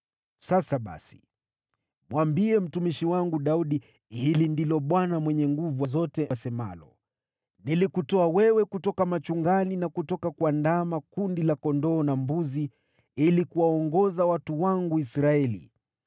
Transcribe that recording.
“Sasa basi, mwambie mtumishi wangu Daudi, ‘Hili ndilo asemalo Bwana Mwenye Nguvu Zote: Nilikutoa wewe kutoka machungani na kutoka kuandama kundi la kondoo na mbuzi ili kuwaongoza watu wangu Israeli.